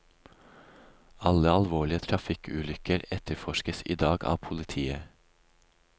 Alle alvorlige trafikkulykker etterforskes i dag av politiet.